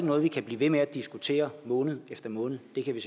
noget vi kan blive ved med at diskutere måned efter måned det kan vi